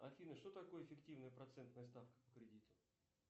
афина что такое фиктивная процентная ставка по кредиту